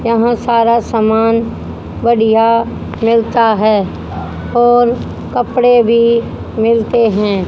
यहां सारा सामान बढ़िया मिलता है और कपड़े भी मिलते है।